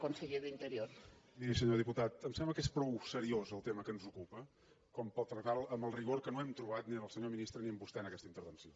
miri senyor diputat em sembla que és prou seriós el tema que ens ocupa per tractar lo amb el rigor que no hem trobat ni en el senyor ministre ni en vostè en aquesta intervenció